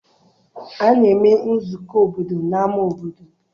A na-eme nzukọ obodo n'ama obodo.